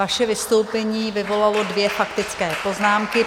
Vaše vystoupení vyvolalo dvě faktické poznámky.